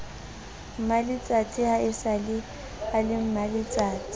mmaletsatsi haesale e le mmaletsatsi